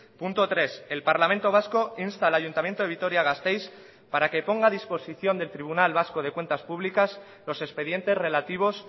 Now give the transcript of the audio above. punto tres el parlamento vasco insta al ayuntamiento de vitoria gasteiz para que ponga a disposición del tribunal vasco de cuentas públicas los expedientes relativos